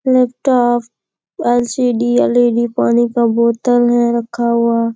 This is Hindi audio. Laptop LCD. एल.ई.डी. पानी का बोतल है रखा हुआ।